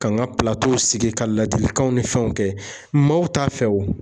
Ka n ka sigi ka ladilikanw ni fɛnw kɛ, maaw t'a fɛ o.